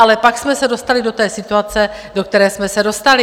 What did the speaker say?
Ale pak jsme se dostali do té situace, do které jsme se dostali.